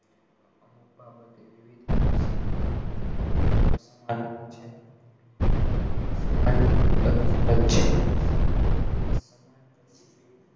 અમુક બાબતે વિવિધ મનુષ્ય વિવિધ રીતે અસમાન હોય છે સમાન શબ્દો રસ્તો જ છે સમાન એટલે સમાન પ્રતિબિંબ,